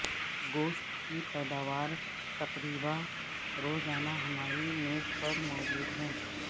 گوشت کی پیداوار تقریبا روزانہ ہماری میز پر موجود ہیں